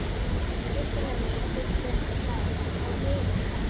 fyrsta lagi byggja þær á veiðimennsku.